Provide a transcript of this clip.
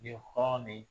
Ni hɔrɔn de